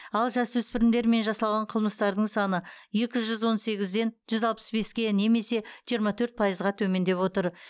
ал жасөспірімдермен жасалған қылмыстардың саны екі жүз он сегізден жүз алпыс беске немесе жиырма төрт пайызға төмендеп отыр